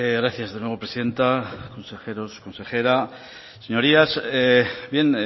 gracias de nuevo presidenta consejeros consejera señorías bien